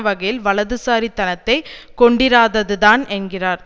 வகையில் வலதுசாரி தனத்தை கொண்டிராததுதான் என்கிறார்